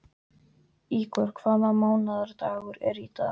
Ígor, hvaða mánaðardagur er í dag?